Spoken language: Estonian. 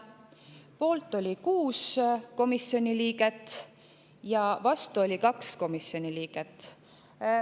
Poolt oli 6 komisjoni liiget ja vastu oli 2 komisjoni liiget.